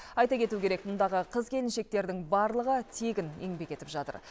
айта кету керек мұндағы қыз келіншектердің барлығы тегін еңбек етіп жатыр